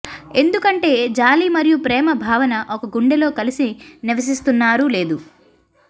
ఎందుకంటే జాలి మరియు ప్రేమ భావన ఒక గుండె లో కలిసి నివసిస్తున్నారు లేదు